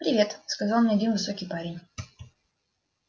привет сказал мне один высокий парень